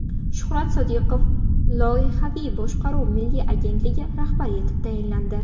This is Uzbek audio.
Shuhrat Sodiqov Loyihaviy boshqaruv milliy agentligi rahbari etib tayinlandi.